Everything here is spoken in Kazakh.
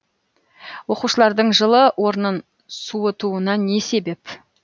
оқушылардың жылы орнын суытуына не себеп